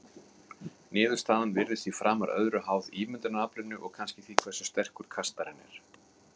Niðurstaðan virðist því framar öðru háð ímyndunaraflinu og kannski því hversu sterkur kastarinn er.